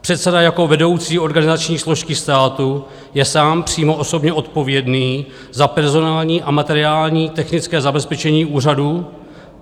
Předseda jako vedoucí organizační složky státu je sám přímo osobně odpovědný za personální a materiální technické zabezpečení úřadu.